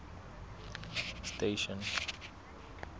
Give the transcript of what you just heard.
station